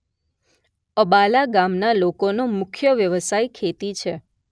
અબાલા ગામના લોકોનો મુખ્ય વ્યવસાય ખેતી છે